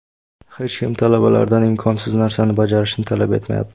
Hech kim talabalardan imkonsiz narsani bajarishni talab etmayapti.